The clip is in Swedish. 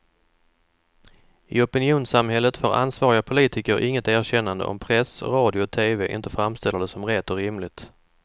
I opinionssamhället får ansvariga politiker inget erkännande om press, radio och tv inte framställer det som rätt och rimligt.